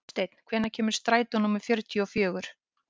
Oddsteinn, hvenær kemur strætó númer fjörutíu og fjögur?